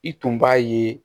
I tun b'a ye